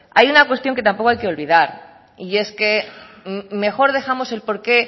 hay una cuestión que tampoco hay que olvidar y es que mejor dejamos él porqué